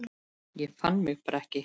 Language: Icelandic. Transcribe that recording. Ég fann mig bara ekki.